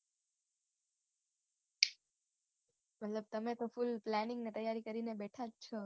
મતલબ તમે તો ફૂલ planning ને તૈયારી કરીને બેઠાં જ છો